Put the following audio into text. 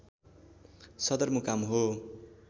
सदरमुकाम हो